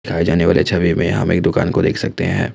दिखाए जाने वाले छवि में हम एक दुकान को देख सकते हैं।